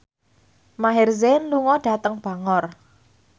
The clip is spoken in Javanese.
Maher Zein lunga dhateng Bangor